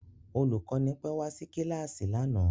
Olùkọ́ni pẹ́ wá sí kíláàsì lánàá